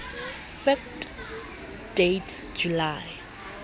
fact date july